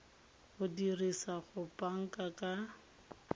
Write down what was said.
o dirisa go banka ka